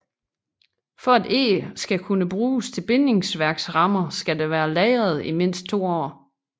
For at eg skal kunne bruges til bindingsværksrammer skal det være lagret i mindst to år